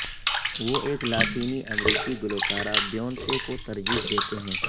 وہ ایک لاطینی امریکی گلوکارہ بیونسے کو ترجیح دیتے ہیں